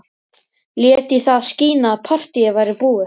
Lét í það skína að partíið væri búið.